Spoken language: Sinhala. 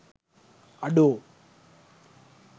අඩෝ!